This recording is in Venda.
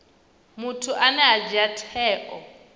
muthu ane a dzhia tsheo